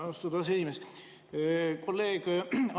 Austatud aseesimees!